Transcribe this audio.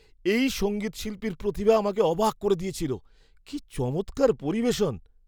এই সঙ্গীতশিল্পীর প্রতিভা আমাকে অবাক করে দিয়েছিল। কি চমৎকার পরিবেশন!